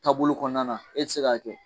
Taabolo kɔnɔna na e ti se k'a kɛ.